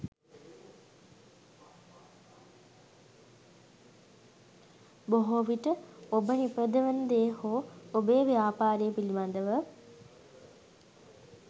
බොහෝ විට ඔබ නිපදවන දේ හෝ ඔබේ ව්‍යාපාරය පිළිබඳව